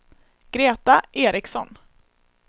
Greta Eriksson